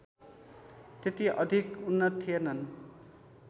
त्यति अधिक उन्नत थिएनन्